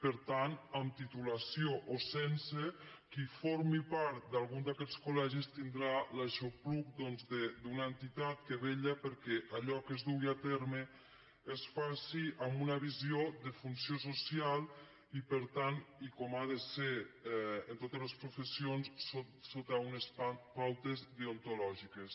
per tant amb titulació o sense qui formi part d’algun d’aquests col·legis tindrà l’aixopluc doncs d’una entitat que vetlla perquè allò que es dugui a terme es faci amb una visió de funció social i per tant i com ha de ser en totes les professions sota unes pautes deontològiques